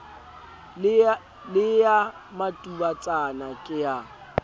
le eya matubatsana ke a